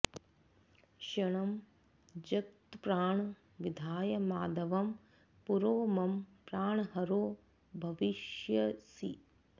क्षणं जगत्प्राण विधाय माधवं पुरो मम प्राणहरो भविष्यसि